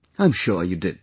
I am sure you did